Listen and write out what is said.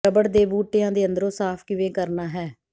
rubber ਦੇ ਬੂਟਿਆਂ ਦੇ ਅੰਦਰੋਂ ਸਾਫ ਕਿਵੇਂ ਕਰਨਾ ਹੈ